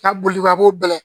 Ka boli ka bɔ